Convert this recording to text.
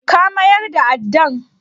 Ka mayar da addan?